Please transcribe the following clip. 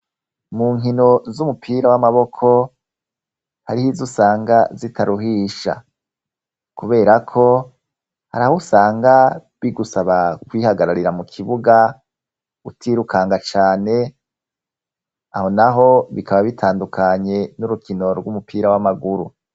Mu nkino z'umupira w'amaboko hariho izo usanga zitaruhisha kubera ko haraho usanga bigusaba kwihagararira mu kibuga utirukanga cane. Aho naho bikaba bitandukanye n'urukino rw'umupira w'amaguru.